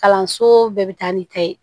Kalanso bɛɛ bɛ taa ni ta ye